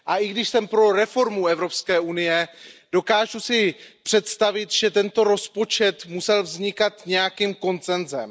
A i když jsem pro reformu Evropské unie, dokážu si představit, že tento rozpočet musel vznikat s nějakým konsenzem.